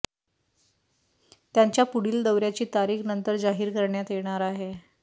त्यांच्या पुढील दौऱ्याची तारीख नंतर जाहीर करण्यात येणार आहे